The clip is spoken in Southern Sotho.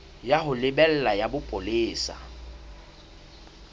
ya ho lebela ya bopolesa